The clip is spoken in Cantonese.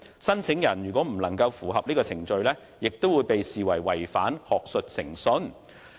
申請人如未能符合以上程序，亦會被視為違反學術誠信。